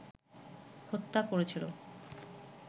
হত্যা করেছিল